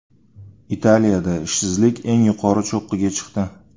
Italiyada ishsizlik eng yuqori cho‘qqiga chiqdi.